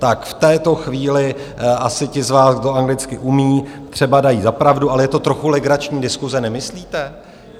Tak v této chvíli asi ti z vás, kdo anglicky umějí, třeba dají za pravdu, ale je to trochu legrační diskuse, nemyslíte?